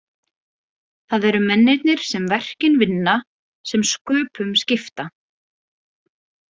Það eru mennirnir sem verkin vinna sem sköpum skipta.